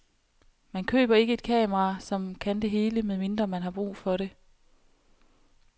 Man køber ikke et kamera, som kan det hele, medmindre man har brug for det.